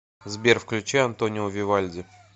сбер включи антонио вивальди